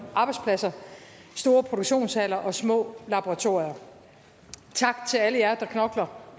arbejdspladser i store produktionshaller og små laboratorier tak til alle jer der knokler